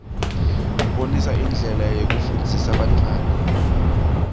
abonisa indlela yekufundzisa bantfwana